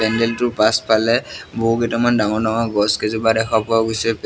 পেন্দেলটোৰ পাছফালে বহু কেইটামান ডাঙৰ ডাঙৰ গছ কেইজোপা দেখা পোৱা গৈছে।